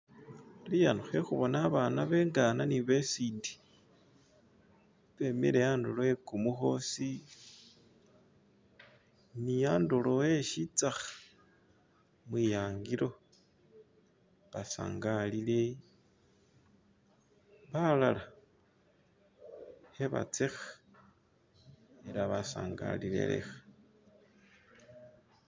iya hehubona babaana bengana ni besinde bemile andulo wekumuhosi ni andulo we shitsaha mwiyangilo basangalile balaala hebatseha ela basangalile leha